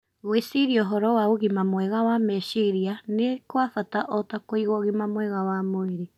Gwĩciria ũhoro wa ũgima mwega wa meciria nĩ kwa bata o ta kũiga ũgima mwega wa mwĩrĩ .